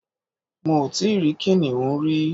Mi ò tí rí kìnìún rí